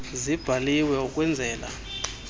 zibhaliwe ukwen zela